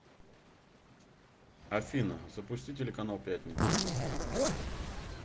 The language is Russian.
афина запусти телеканал пятница